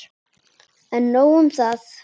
En nóg um það.